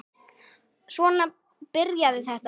Svona byrjaði þetta.